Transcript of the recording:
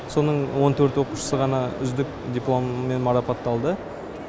соның он төрт оқушысы ғана үздік дипломмен марапатталды